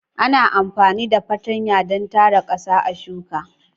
Ana amfani da fartanya don tara ƙasa a shuka.